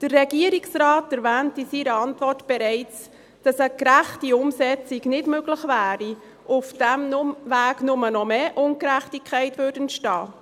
Der Regierungsrat erwähnt in seiner Antwort bereits, dass eine gerechte Umsetzung nicht möglich wäre und auf diesem Weg bloss noch mehr Ungerechtigkeit entstehen würde.